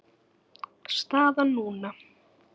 Staðan núna?